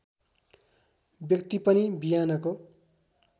व्यक्ति पनि बिहानको